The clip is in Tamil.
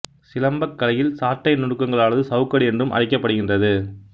சிலம்பக் கலையில் சாட்டை நுணுக்கங்களானது சவுக்கு அடி என்றும் அழைக்கப்படுகின்றது